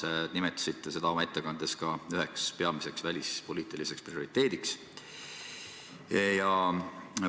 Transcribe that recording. Te nimetasite seda oma ettekandes ka üheks peamiseks välispoliitiliseks prioriteediks.